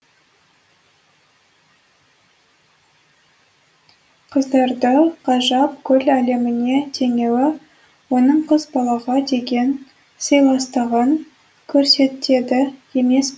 қыздарды ғажап гүл әлеміне теңеуі оның қыз балаға деген сыйластығын көрсетеді емес пе